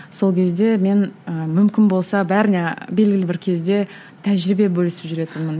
сол кезде мен і мүмкін болса бәріне белгілі бір кезде тәжірибе бөлісіп жүретінмін